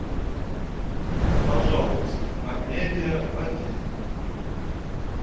пожалуйста амедиа один